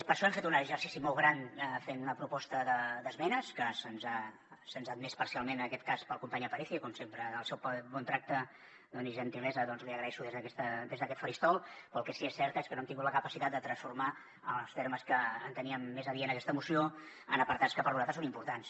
per això hem fet un exercici molt gran fent una proposta d’esmenes que se’ns ha admès parcialment en aquest cas pel company aparicio com sempre el seu bon tracte i gentilesa els hi agraeixo des d’aquest faristol però el que sí que és cert és que no hem tingut la capacitat de transformar en els termes que enteníem més adients aquesta moció en apartats que per nosaltres són importants